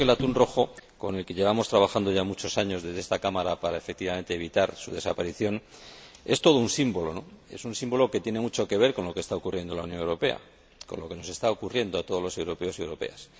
Creo que el atún rojo, con el que llevamos trabajando ya muchos años desde esta Cámara para, efectivamente, evitar su desaparición, es todo un símbolo, ¿no? Es un símbolo que tiene mucho que ver con lo que está ocurriendo en la Unión Europea, con lo que nos está ocurriendo a todos los europeos y europeas.